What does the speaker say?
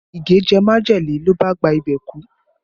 Ige jẹ majele ló bá gba ibẹ̀ kú